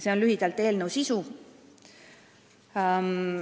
See on lühidalt eelnõu sisu.